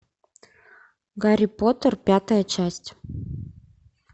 гарри поттер пятая часть